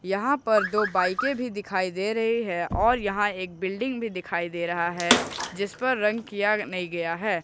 यहां पर दो बाईकें भी दिखाई दे रही है और यहां एक बिल्डिंग भी दिखाई दे रही है जिसपर रंग किया नहीं गया है।